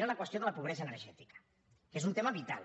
era la qüestió de la pobresa energètica que és un tema vital